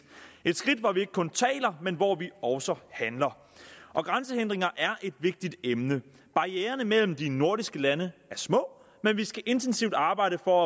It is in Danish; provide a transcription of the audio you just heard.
et skridt hvor vi ikke kun taler men hvor vi også handler grænsehindringer er et vigtigt emne barriererne mellem de nordiske lande er små men vi skal intensivt arbejde for